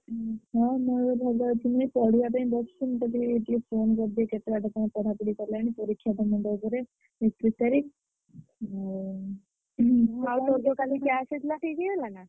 ହୁଁ ହଁ ମୋର ଭଲ ଅଛି, ପଢିବା ପାଇଁ ବସିଥିଲି ତ ଟିକେ phone କରିଦିଏ କେତେବାଟ କଣ ପଢାପଢି ଗଲାଣି ପରୀକ୍ଷା ତ ମୁଣ୍ଡ ଉପରେ ଏକଦୁଇ ତାରିଖ୍, ଆଉ ।